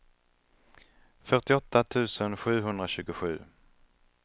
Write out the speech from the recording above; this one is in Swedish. fyrtioåtta tusen sjuhundratjugosju